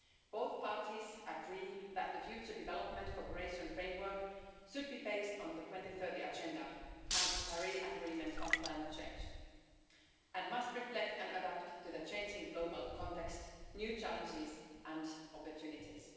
Both parties agree that the future development cooperation framework should be based on the 2030 Agenda and the Paris Agreement on climate change and must reflect and adapt to the changing global context, new challenges and opportunities.